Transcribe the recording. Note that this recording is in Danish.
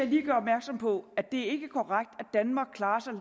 lige gøre opmærksom på at det at danmark klarer sig